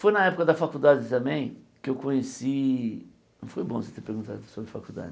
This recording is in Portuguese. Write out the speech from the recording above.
Foi na época da faculdade também que eu conheci foi bom você ter perguntado sobre faculdade